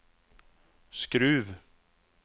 Skruv